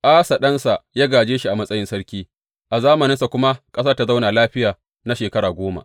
Asa ɗansa ya gāje shi a matsayin sarki, a zamaninsa kuma ƙasar ta zauna lafiya na shekara goma.